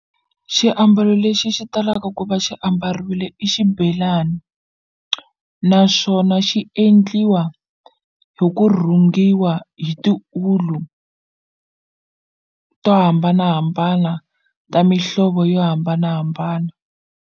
Xiambalo lexi xi talaka ku va xi ambariwile i xibelani naswona xi endliwa hi ku rhungiwa hi tiulu to hambanahambana ta mihlovo yo hambanahambana.